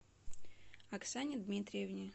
оксане дмитриевне